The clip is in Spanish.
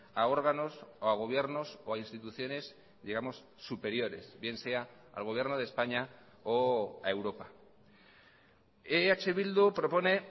a órganos o a gobiernos o a instituciones digamos superiores bien sea al gobierno de españa o a europa eh bildu propone